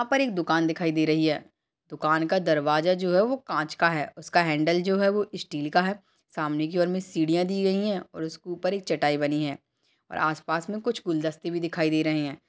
यहाँ पर एक दुकान दिखाई दे रही है दुकान का दरवाजा जो है वो कांच का है उसका हैंडल जो है वो स्टील का है सामने की ओर में सीढ़ियां दी गई है और उसके ऊपर एक चटाई बनी है और आस-पास में कुछ गुलदस्ते भी दिखाई दे रहे हैं।